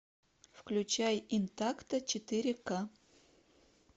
включай интакто четыре ка